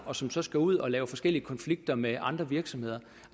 og som så skal ud og lave forskellige konflikter med andre virksomheder